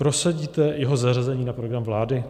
Prosadíte jeho zařazení na program vlády?